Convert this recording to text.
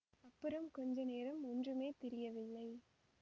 அப்புறம் கொஞ்ச நேரம் ஒன்றுமே தெரியவில்லை